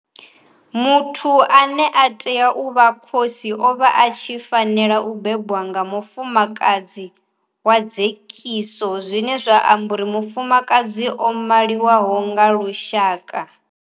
Muthu ane a tea u vha khosi o vha a tshi fanela u bebwa nga mufumakadzi wa dzekiso zwine zwa amba uri mufumakadzi o maliwaho nga lushaka.